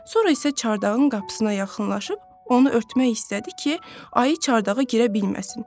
Sonra isə çardağın qapısına yaxınlaşıb onu örtmək istədi ki, ayı çardağa girə bilməsin.